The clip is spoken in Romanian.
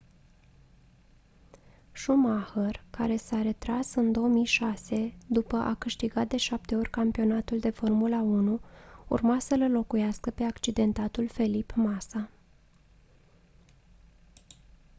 schumacher care s-a retras în 2006 după a câștigat de 7 ori campionatul de formula 1 urma să-l înlocuiască pe accidentatul felipe massa